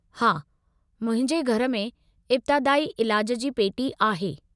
हा, मुंहिंजे घर में इब्तादाई इलाज जी पेटी आहे।